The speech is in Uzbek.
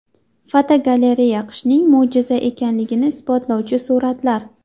Fotogalereya: Qishning mo‘jiza ekanligini isbotlovchi suratlar.